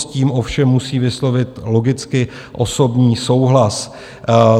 S tím ovšem musí vyslovit logicky osobní souhlas.